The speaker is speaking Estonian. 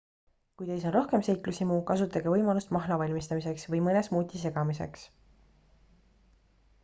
kui teis on rohkem seiklushimu kasutage võimalust mahla valmistamiseks või mõne smuuti segamiseks